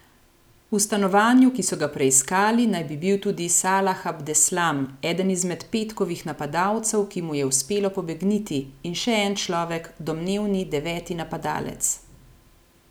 V stanovanju, ki so ga preiskali, naj bi bil tudi Salah Abdeslam, eden izmed petkovih napadalcev, ki mu je uspelo pobegniti, in še en človek, domnevni deveti napadalec.